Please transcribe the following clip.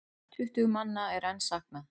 Tuttugu manna er enn saknað.